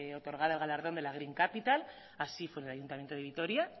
otorgada el galardón de la green capital así fue en el ayuntamiento de vitoria